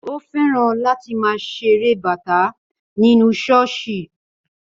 Ó fẹ́ràn láti máa ṣeré bata nínú ṣọ́ọ̀ṣì